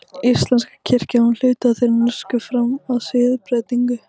Íslenska kirkjan var hluti af þeirri norsku fram að siðbreytingu.